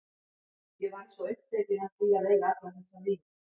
Ég varð svo upptekin af því að eiga alla þessa vini.